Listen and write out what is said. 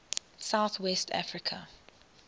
south west africa